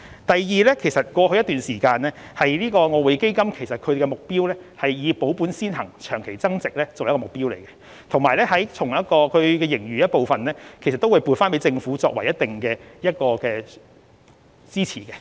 第二，在過去一段時間，外匯基金的目標均是以保本先行，長期增值作為目標，並會從盈餘回撥一部分予政府以作一定的支持。